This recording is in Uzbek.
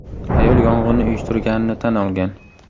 Ayol yong‘inni uyushtirganini tan olgan.